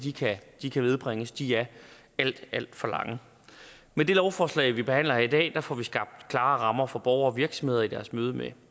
de kan nedbringes de er alt alt for lange med det lovforslag vi behandler her i dag får vi skabt klare rammer for borgere og virksomheder i deres møde med